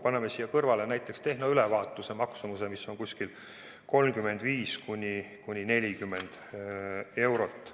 Paneme siia kõrvale näiteks tehnoülevaatuse maksumuse, mis on umbes 35–40 eurot.